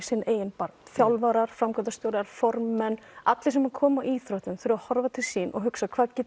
eigin barm þjálfarar framkvæmdastjórar formenn allir sem koma íþróttum þurfa að horfa til sín og hugsa hvað get